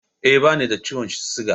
Eh, bani da ciwon siga